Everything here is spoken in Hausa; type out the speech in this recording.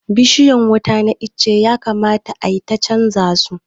Bishiyan wuta na itace ya kamata ayi ta canja zu